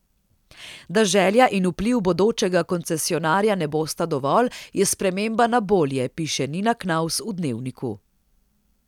Da želja in vpliv bodočega koncesionarja ne bosta dovolj, je sprememba na bolje, piše Nina Knavs v Dnevniku.